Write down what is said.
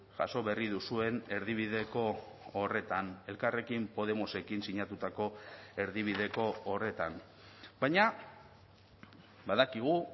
jaso berri duzuen erdibideko horretan elkarrekin podemosekin sinatutako erdibideko horretan baina badakigu